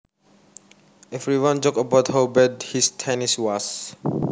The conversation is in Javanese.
Everyone joked about how bad his tennis was